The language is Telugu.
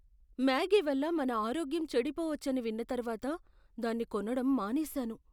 మ్యాగీ వల్ల మన ఆరోగ్యం చెడిపోవచ్చని విన్న తర్వాత, దాన్ని కొనడం మానేశాను.